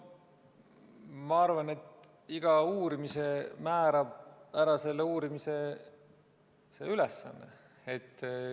Ma arvan, et iga uurimise määrab ära selle uurimise ülesanne.